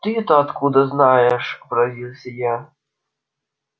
ты-то откуда знаешь поразился я